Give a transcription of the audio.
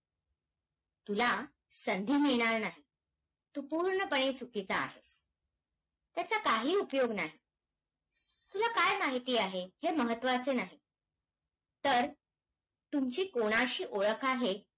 अनेक अनेकदा ऐकले अमेरिका प्रगत आहे म्हणून तिथले महामार्ग उत्तम नाहीत, तर तिथले महामार्ग उत्तम आहेत म्हणून अमेरिका प्रगत आहे.